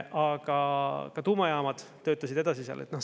Aga ka tuumajaamad töötasid edasi seal.